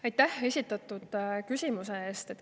Aitäh esitatud küsimuse eest!